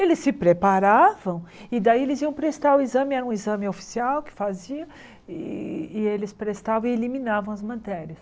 Eles se preparavam e daí eles iam prestar o exame, era um exame oficial que faziam, e e eles prestavam e eliminavam as matérias.